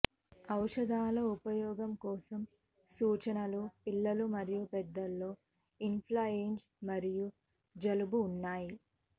ఔషధాల ఉపయోగం కోసం సూచనలు పిల్లలు మరియు పెద్దలలో ఇన్ఫ్లుఎంజా మరియు జలుబు ఉన్నాయి